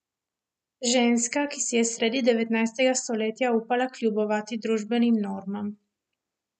Ženska, ki si je sredi devetnajstega stoletja upala kljubovati družbenim normam.